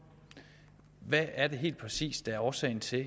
hvad er det helt præcis der er årsagen til at